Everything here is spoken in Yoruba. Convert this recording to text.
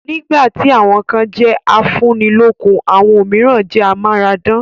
Nígbà tí àwọn kan jẹ́ afúnilọ́kun, àwọn òmíràn jẹ́ amáradán